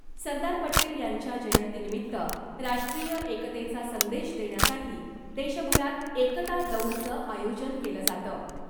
सरदार पटेल यांच्या जयंतीनिमित्त राष्ट्रीय एकतेचा संदेश देण्यासाठी देशभरात ' एकता दौड'चं आयोजन केलं जातं .